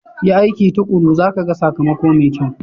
Yi aiki tuƙuru za ka ga sakamako mai kyau.